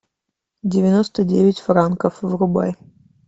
девяносто девять франков врубай